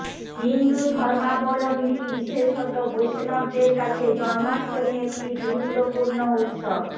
হিন্দু ধর্মাবলম্বী বিশেষত বৈষ্ণবদের কাছে জন্মাষ্টমী একটি গুরুত্বপূর্ণ উৎসব